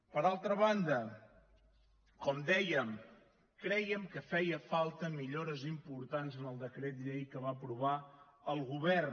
per altra banda com dèiem crèiem que feien falta millores importants en el decret llei que va aprovar el govern